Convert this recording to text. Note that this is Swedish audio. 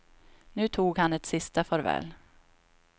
Nu tog han ett sista farväl.